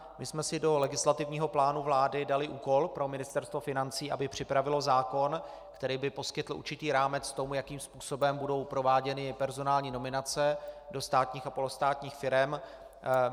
My jsme si do legislativního plánu vlády dali úkol pro Ministerstvo financí, aby připravilo zákon, který by poskytl určitý rámec tomu, jakým způsobem budou prováděny personální nominace do státních a polostátních firem.